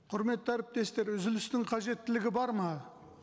құрметті әріптестер үзілістің қажеттілігі бар ма